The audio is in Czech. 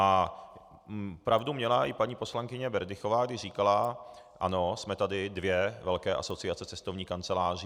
A pravdu měla i paní poslankyně Berdychová, když říkala: Ano, jsme tady dvě velké asociace cestovních kanceláří.